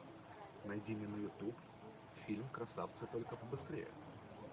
найди мне на ютуб фильм красавцы только побыстрее